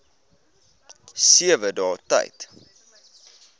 sewe dae tyd